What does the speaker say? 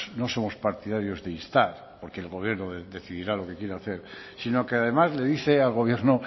no somos partidarios de instar porque el gobierno decidirá lo que quiere hacer sino que además le dice al gobierno